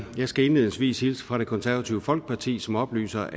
skal indledningsvis hilse fra det konservative folkeparti som oplyser